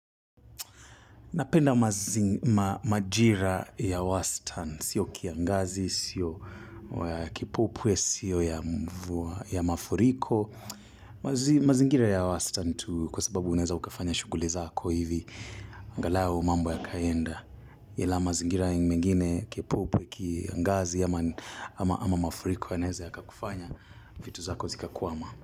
Napenda majira ya wastani, siyo kiangazi, siyo kipupwe, siyo ya mafuriko. Mazingira ya wastani tu kwa sababu unaeza ukafanya shuguli zako hivi. Angalau mambo ya kaenda. Ila mazingira mengine, kipupwe, kiangazi, ama mafuriko yanaeza yakakufanya, vitu zako zikakuama.